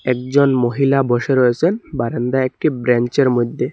একজন মহিলা বসে রয়েসেন বারান্দায় একটি ব্রেঞ্চের মধ্যে।